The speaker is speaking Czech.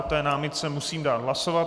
O té námitce musím dát hlasovat.